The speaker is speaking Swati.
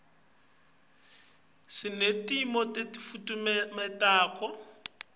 sinetinto tekufutfumata